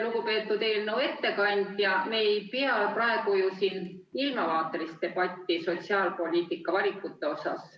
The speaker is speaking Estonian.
Lugupeetud eelnõu ettekandja, me ei pea ju praegu siin ilmavaatelist debatti sotsiaalpoliitiliste valikute üle.